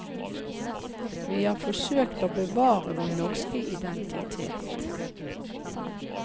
Vi har forsøkt å bevare vår norske identitet.